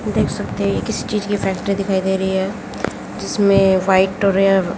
देख सकते हैं ये किसी चीज की फैक्ट्री दिखाई दे रही है जिसमें व्हाइट और ये--